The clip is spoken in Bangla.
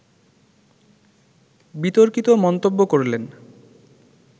বিতর্কিত মন্তব্য করলেন